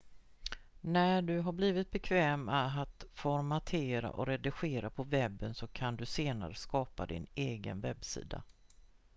när du har blivit bekväm med att formatera och redigera på webben så kan du senare skapa din egen webbsida